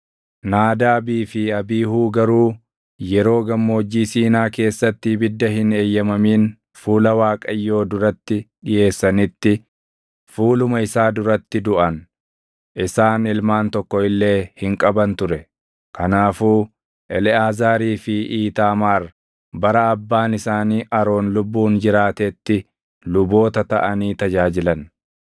Naadaabii fi Abiihuu garuu yeroo Gammoojjii Siinaa keessatti ibidda hin eeyyamamin fuula Waaqayyoo duratti dhiʼeessanitti fuuluma isaa duratti duʼan. Isaan ilmaan tokko illee hin qaban ture. Kanaafuu Eleʼaazaarii fi Iitaamaar bara abbaan isaanii Aroon lubbuun jiraatetti luboota taʼanii tajaajilan.